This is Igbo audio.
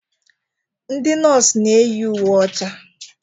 Ndị nọọsụ na eyi uwe ọcha.